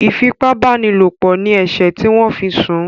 ifi ipá báni lọpọ ní eṣe tí wón fí sún